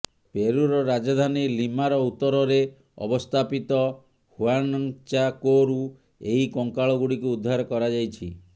ପେରୁର ରାଜଧାନୀ ଲିମାର ଉତ୍ତରରେ ଅବସ୍ଥାପିତ ହୁଆନ୍ଚାକୋରୁ ଏହି କଙ୍କାଳ ଗୁଡିକୁ ଉଦ୍ଧାର କରାଯାଇଛି